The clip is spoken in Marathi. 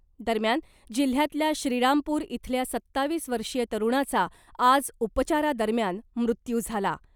दरम्यान , जिल्ह्यातल्या श्रीरामपूर इथल्या सत्तावीस वर्षीय तरुणाचा आज उपचारादरम्यान मृत्यू झाला .